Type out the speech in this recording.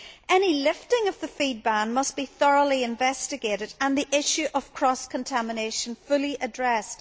Any lifting of the feed ban must be thoroughly investigated and the issue of cross contamination fully addressed.